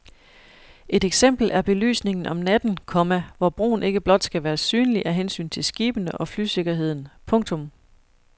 Et eksempel er belysningen om natten, komma hvor broen ikke blot skal være synlig af hensyn til skibene og flysikkerheden. punktum